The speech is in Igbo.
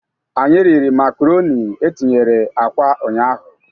Anyị riri makaroni e tinyere akwa ụnyaahụ.